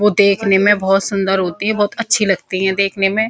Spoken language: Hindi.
वो देखने में बहोत सुन्दर होते हैं बहोत अच्छी लगती हैं देखने में।